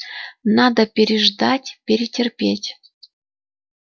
надо переждать перетерпеть